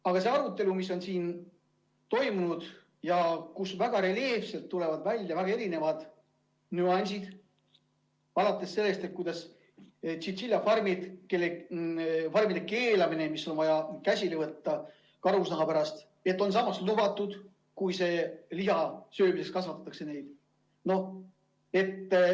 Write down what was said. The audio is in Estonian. Aga siin toimunud arutelu käigus on väga reljeefselt välja tulnud erinevad nüansid, alates sellest, et tšintšiljafarmide keelamine on vaja käsile võtta karusnaha pärast, ent on samas nagu lubatud, kui neid kasvatatakse liha söömiseks.